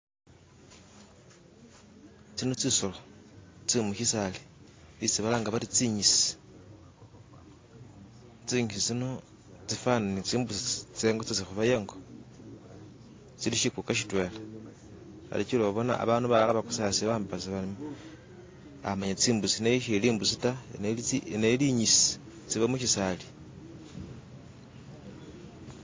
Tsino tsisolo tse'mukisala etsi balanga bari zikitsi, zikitsi tsino tsifanana ni zimbusi zetsi kubaya ingo zili kikuka kitwela hari jila obona abandu balala bagosasa bambasa bati eyi imbutsi, naye eri embutsi ta, nenga eri ekitsi iziba mukitsaali.